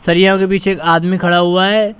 के पीछे एक आदमी खड़ा हुआ है।